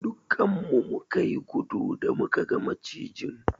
Duƙƙan mu muka yi gudu da muka gan macijin.